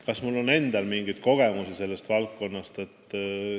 Kas mul on endal mingeid kogemusi sellest valdkonnast?